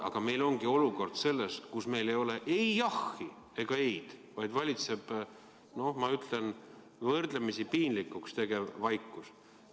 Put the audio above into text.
Aga meil ongi selline olukord, kus meil ei ole ei jahhi ega eid, vaid valitseb, noh, ma ütlen, võrdlemisi piinlikuks muutuv vaikus.